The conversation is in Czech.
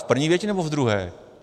V první větě, nebo v druhé?